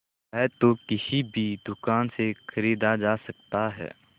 वह तो किसी भी दुकान से खरीदा जा सकता है